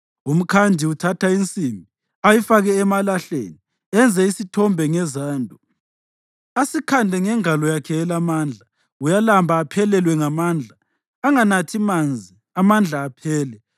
Umkhandi uthatha insimbi ayifake emalahleni; enze isithombe ngezando, asikhande ngengalo yakhe elamandla. Uyalamba aphelelwe ngamandla. Anganathi manzi, amandla aphele.